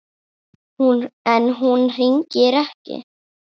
En hún hringir ekki.